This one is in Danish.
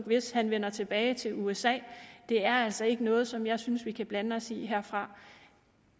hvis han vender tilbage til usa det er altså ikke noget som jeg synes vi kan blande os i herfra